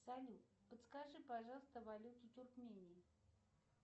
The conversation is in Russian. салют подскажи пожалуйста валюту туркмении